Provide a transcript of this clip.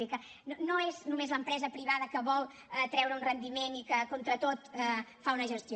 és a dir que no és només l’empresa privada que vol treure un rendiment i que contra tot fa una gestió